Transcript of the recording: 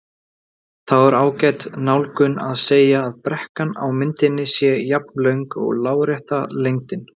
Þá er ágæt nálgun að segja að brekkan á myndinni sé jafnlöng og lárétta lengdin.